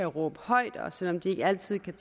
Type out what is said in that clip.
råbe højt og selv om de ikke altid kan